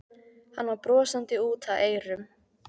Hann var brosandi út að eyrum.